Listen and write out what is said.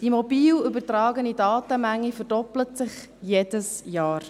Die mobile übertragene Datenmenge verdoppelt sich jedes Jahr,